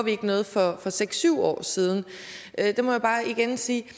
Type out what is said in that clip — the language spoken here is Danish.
noget for seks syv år siden må jeg bare igen sige